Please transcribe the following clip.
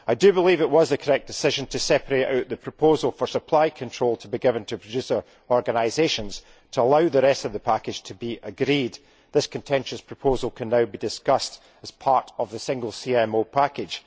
I believe it was a correct decision to separate out the proposal for supply control to be given to producer organisations, to allow the rest of the package to be agreed. This contentious proposal can now be discussed as part of the single CMO package.